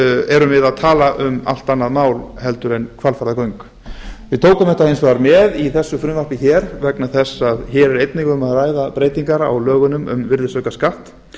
erum við að tala um allt annað mál heldur en hvalfjarðargöng við tókum þetta hins vegar með í þessu frumvarpi hér vegna þess að hér er einnig um að ræða breytingar á lögunum um virðisaukaskatt